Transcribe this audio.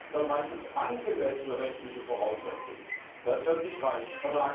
Dort heißt es angemessene rechtliche Voraussetzungen. Das wird nicht reichen.